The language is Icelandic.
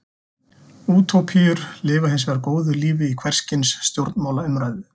Útópíur lifa hins vegar góðu lífi í hvers kyns stjórnmálaumræðu.